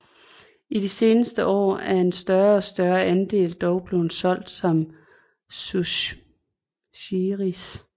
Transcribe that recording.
I de seneste år er en større og større andel dog blevet solgt som sushiris